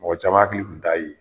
Mɔgɔ caman hakili un t'a ye.